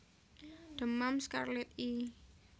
Demam skarlet i